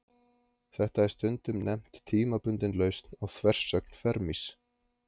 Þetta er stundum nefnt tímabundin lausn á þversögn Fermis.